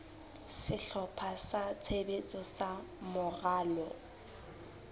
sehlopha sa tshebetso sa moralo